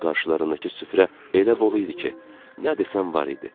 Qarşılarındakı süfrə elə bol idi ki, nə desən var idi.